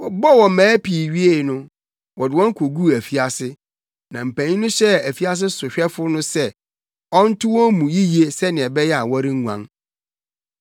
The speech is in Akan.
Wɔbɔɔ wɔn mmaa pii wiei no, wɔde wɔn koguu afiase, na mpanyin no hyɛɛ afiase sohwɛfo no sɛ ɔnto wɔn mu yiye sɛnea ɛbɛyɛ a wɔrenguan.